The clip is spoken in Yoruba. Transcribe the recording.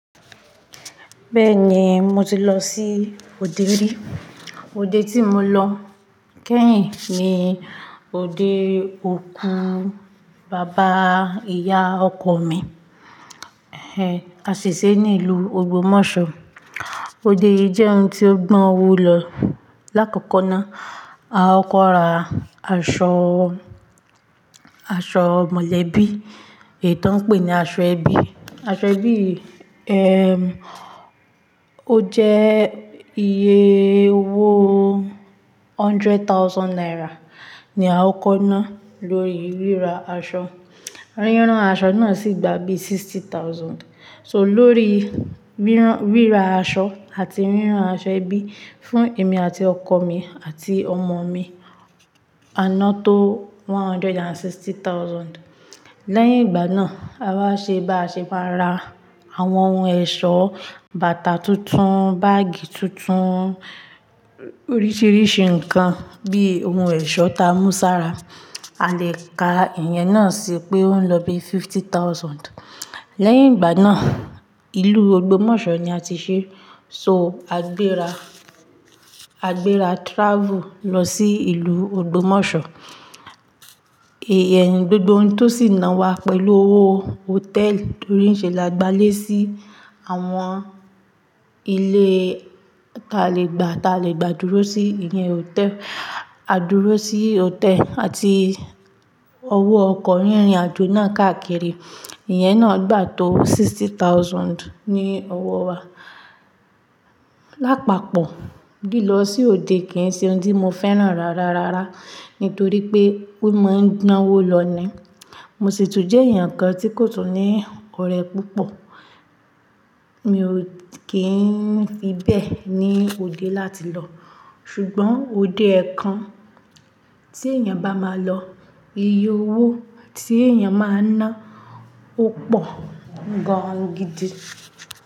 Bẹ́ẹ̀ni, mo ti lọ sí òde rí. Òde tí mo lọ kẹ́yìn ni òde òkú bàbá ìyá ọkọ̀ mi, ẹ́, a sè ṣe ní ìlú Ogbomoso. Òde yìí jẹ́ ohun tí ó gbọ́n owó lọ. Láàkọ́kọ́ náà, a kókó ra aṣọ, aṣọ mọ̀lẹ́bí, èyí tó ń pè ní aṣọ ẹbí. Aṣọ ẹbí yìí, ẹ́m, ó jẹ́ iye owó hundred thousand naira ni a kó kó ná lórí ríra aṣọ. Rírán aṣọ náà sì gba bí sixty thousand. So lórí rírán, ríra aṣọ àti rírán aṣọ ẹbí fún èmi àti ọkọ̀ mi àti ọmọ mi, a ná tó one hundred and sixty thousand. Lẹ́yìn ìgbà náà, a wá ṣe bá a ṣe máa ra àwọn ohun ẹ̀ṣọ́, bàtà tuntun, báágì tuntun, oríṣiríṣi nǹkan bí ohun ẹ̀ṣọ́ ta mú sára. A le ka ìyẹn náà sí pé ó ń lọ bí fifty thousand. Lẹ́yìn ìgbà náà, ìlú Ogbomoso ni a ti ṣe. So a gbéra, a gbéra travel lọ sí ìlú Ogbomoso. Èh, gbogbo ohun tó sì ná wa pẹ̀lú owó hotel torí ǹ ṣẹ́ là gbalé sí àwọn ilé ta lè gba, ta lè gba dúró sí, ìyẹn hotel. A dúró sí hotel àti owó ọkọ̀ rírin àjò náà káàkiri. Ìyẹn náà gba tó sixty thousand ní owó wa. Lápapọ̀, lílọ sí òde kìí ṣe ohun tí mo fẹ́ràn rárá rárá nítorí pé ó máa ń gbọ́n owó lọ ni. Mo ṣì tún jẹ́ èèyàn kan tí kò tún ní ọ̀rẹ́ púpọ̀. Mi ò kí ń fi bẹ́ẹ̀ ní òde láti lọ. Ṣùgbọ́n òde kan tí èèyàn bá máa lọ, iye owó tí èèyàn máa ná ó pọ̀ gán gidi.